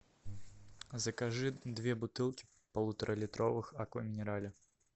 закажи две бутылки полуторалитровых аква минерале